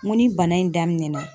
N ko ni bana in daminɛna